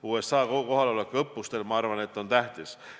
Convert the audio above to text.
USA kohalolek õppustel on tähtis.